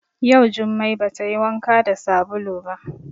Yau jumai ba tayi wanka da sabulu ba